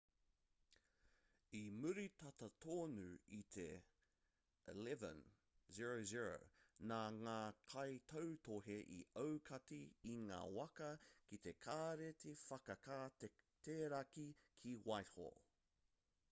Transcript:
i muri tata tonu i te 11:00 nā ngā kaitautohe i aukati i ngā waka ki te kāreti whakateraki ki whitehall